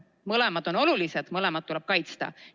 Mõlemad on olulised, mõlemat tuleb kaitsta.